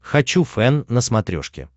хочу фэн на смотрешке